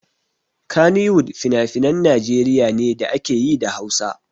Kannywood finafinan Najeriya ne da ake yi da Hausa.